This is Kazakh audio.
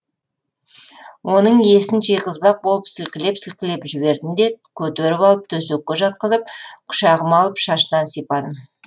оның есін жиғызбақ болып сілкілеп сілкілеп жібердім де көтеріп алып төсекке жатқызып құшағыма алып шашынан сипадым